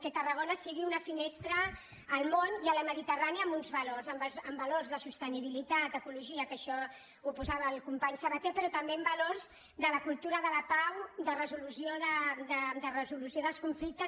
que tarragona sigui una finestra al món i a la mediterrània amb uns valors amb valors de sostenibilitat ecologia que això ho posava el company sabaté però també amb valors de la cultura de la pau de resolució dels conflictes